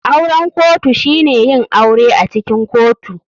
Auren kotu shine yin aure acikin kotu.